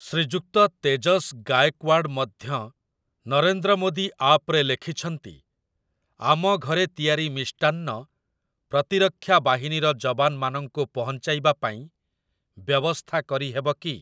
ଶ୍ରୀଯୁକ୍ତ ତେଜସ୍ ଗାଏକୱାଡ଼୍ ମଧ୍ୟ ନରେନ୍ଦ୍ରମୋଦି ଆପ୍‌ରେ ଲେଖିଛନ୍ତି, "ଆମ ଘରେ ତିଆରି ମିଷ୍ଟାନ୍ନ, ପ୍ରତିରକ୍ଷା ବାହିନୀର ଯବାନମାନଙ୍କୁ ପହଞ୍ଚାଇବା ପାଇଁ ବ୍ୟବସ୍ଥା କରିହେବ କି"?